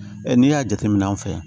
n'i y'a jateminɛ an fɛ yan